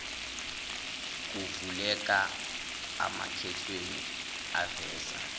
kuvuleka amakhethini aveza